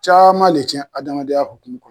Caman le cɛn adamadenya hukumu kɔnɔ